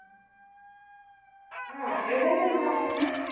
ആണോ? എവിടേയ്ക്കാ plan ചെയ്യുന്നേ?